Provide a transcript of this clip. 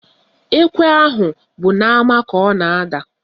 Ekwe ahụ bụ n'ama ka ọ na-ada